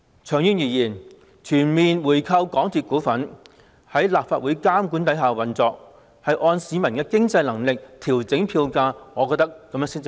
長遠而言，我認為全面回購港鐵公司股份，在立法會監管之下運作，按市民的經濟能力調整票價，才是合理的做法。